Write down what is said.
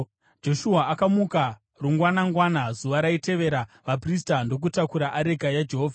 Joshua akamuka rungwanangwana zuva raitevera vaprista ndokutakura areka yaJehovha.